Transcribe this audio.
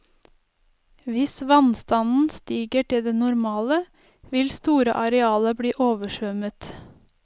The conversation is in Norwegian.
Hvis vannstanden stiger til det normale, vil store arealer bli oversvømmet.